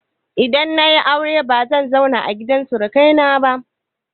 Idan na yi aure bazan zauna a gidan surukaina ba.